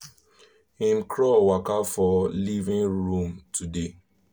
him crawl waka for living room today